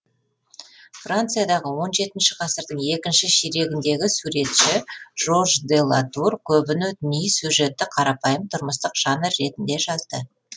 франциядағы он жетінші ғасырдың екінші ширегіндегі суретші жорж де латур көбіне діни сюжетті қарапайым тұрмыстық жанр ретінде жазды